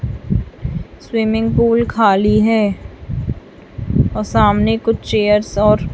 swimming pool खाली है और सामने कुछ चेयर्स और--